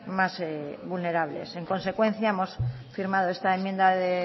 más vulnerables en consecuencia hemos firmado esta enmienda de